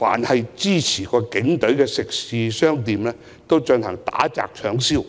以及支持警隊的食肆和商店打、砸、搶、燒。